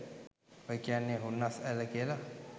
ඔය කියන්නේ “හුන්නස් ඇල්ල” කියල